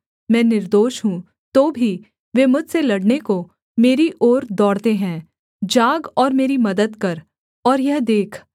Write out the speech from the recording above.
मैं निर्दोष हूँ तो भी वे मुझसे लड़ने को मेरी ओर दौड़ते है जाग और मेरी मदद कर और यह देख